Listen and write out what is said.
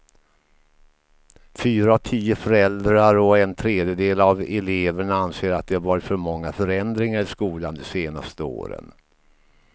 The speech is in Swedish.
Fyra av tio föräldrar och en tredjedel av eleverna anser att det varit för många förändringar i skolan de senaste åren.